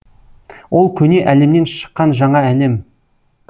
ол көне әлемнен шыққан жаңа әлем